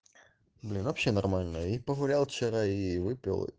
блин вообще нормальная и погуляла вчера и выпил